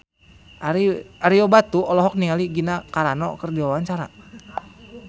Ario Batu olohok ningali Gina Carano keur diwawancara